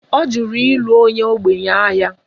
Ọ jụrụ ịlụ onye ogbenye ahịa